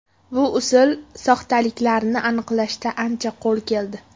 Bu usul soxtaliklarni aniqlashda ancha qo‘l keldi.